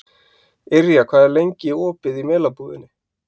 Yrja, hvað er lengi opið í Melabúðinni?